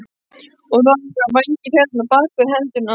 Og þá voru vængir hérna, bak við hendurnar.